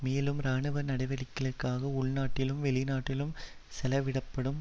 மேலும் இராணுவ நடவடிக்கைகளுக்காக உள்நாட்டிலும் வெளிநாட்டிலும் செலவிடப்படும்